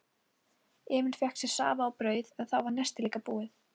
Emil fékk sér safa og brauð en þá var nestið líka búið.